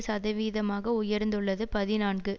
சதவீதமாக உயர்ந்துள்ளது பதினான்கு